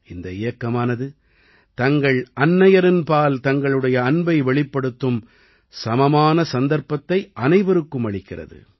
இந்த இயக்கமானது தங்கள் அன்னையரின்பால் தங்களுடைய அன்பை வெளிப்படுத்தும் சமமான சந்தர்ப்பத்தை அனைவருக்கும் அளிக்கிறது